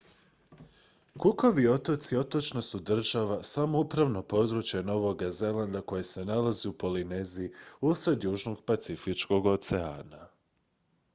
cookovi otoci otočna su država samoupravno područje novoga zelanda koje se nalazi u polineziji usred južnog pacifičkog oceana